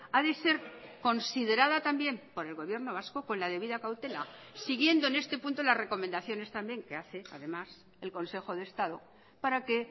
ha de ser considerada también por el gobierno vasco con la debida cautela siguiendo en este punto las recomendaciones también que hace además el consejo de estado para que